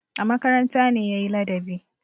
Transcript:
A makaranta ne ya yi ladabi.